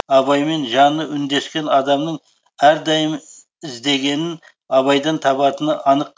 абаймен жаны үндескен адамның әрдайым іздегенін абайдан табатыны анық